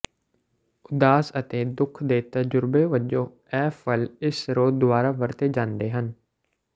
ਉਦਾਸ ਅਤੇ ਦੁਖ ਦੇ ਤਜ਼ੁਰਬੇ ਵਜੋਂ ਇਹ ਫਲ ਇਸ ਸਰੋਤ ਦੁਆਰਾ ਵਰਤੇ ਜਾਂਦੇ ਹਨ